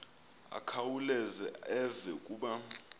akhawuleze eve kuba